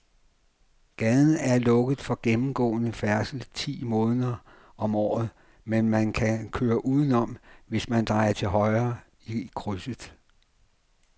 Gaden er lukket for gennemgående færdsel ti måneder om året, men man kan køre udenom, hvis man drejer til højre i krydset.